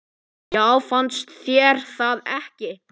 Já, fannst þér það ekki?